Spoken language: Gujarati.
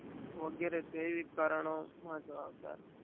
વગેરે જેવીક કારણો જવાબદાર છે.